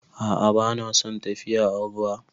A'a, ba na son tafiya a ruwa.